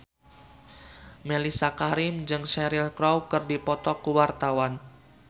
Mellisa Karim jeung Cheryl Crow keur dipoto ku wartawan